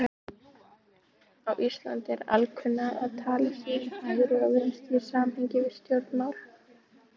Á Íslandi er alkunna að talað sé um hægri og vinstri í samhengi við stjórnmál.